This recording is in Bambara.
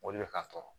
O de bɛ ka sɔrɔ